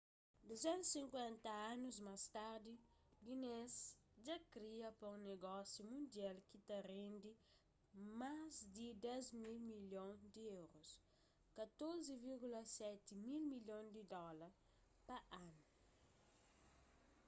250 anus más tardi guinness dja kria pa un nogósiu mundial ki ta rendi más di 10 mil milhon di euros 14,7 mil milhon di dóla pa anu